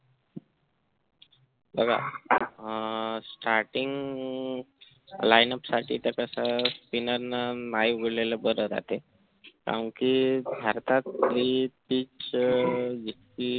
बघा अं starting lineup साठी तर तसं spinner ने नाही बोलले बरं राहतंय कारण कि भारतात कि तीच